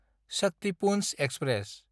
Shaktipunj express